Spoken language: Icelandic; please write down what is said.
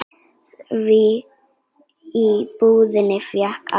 Því í búðinni fékkst allt.